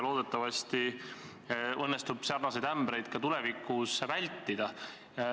Loodetavasti õnnestub samasuguseid ämbreid tulevikus vältida.